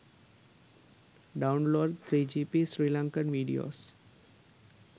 download 3gp sri lankan videos